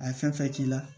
A ye fɛn fɛn k'i la